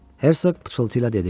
Hersoq pıçıltı ilə dedi: